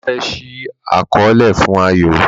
Bàbá fe ṣii àkọọlẹ fún Ayo